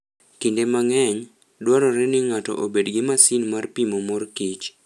Kinde mang'eny, dwarore ni ng'ato obed gi masin mar pimo mor kich.